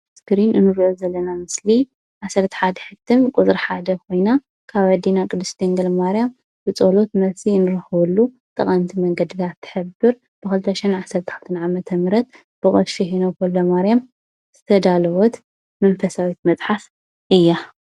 ኣብ እስክሪን እንሪኦ ዘለና ምስሊ 11 ሕትም ቁፅሪ 1 ኮይና ካብ ኣዴና ቅድስቲ ድንግል ማርያም ብፀሎት መልሲ እንረክበሉ ተቀምቲ መንገድታት እትሕብር 2012 ዓ/ም ብቀሺ ሄኖክ ወ/ማርያም ዝተዳለወት መንፈሳዊት መፅሓፍ እያ፡፡